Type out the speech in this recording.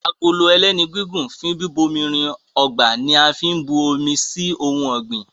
Agolo ẹlẹ́nu gígùn fún bíbomirin ọgbà ní a fín bù omí sí ohùn ògbìn